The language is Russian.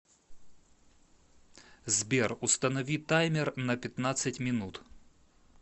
сбер установи таймер на пятнадцать минут